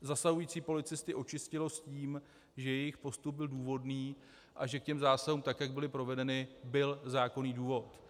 zasahující policisty očistilo s tím, že jejich postup byl důvodný a že k těm zásahům, tak jak byly provedeny, byl zákonný důvod.